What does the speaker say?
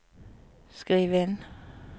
skriv inn